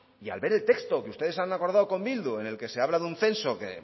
y al ver el texto que ustedes han acordado con bildu en el que se habla de un censo que